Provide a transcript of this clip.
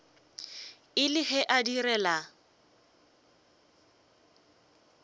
e le ge a direla